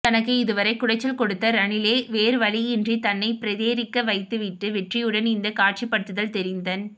தனக்கு இதுவரை குடைச்சல் கொடுத்த ரணிலே வேறுவழியின்றி தன்னைபிரேரிக்க வைத்துவிட்ட வெற்றியுடன் இந்த காட்சிப்படுத்தல் தெரிந்தன்